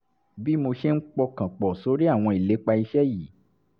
bí mo ṣe ń pọkàn pọ̀ sórí àwọn ìlépa iṣẹ́ yìí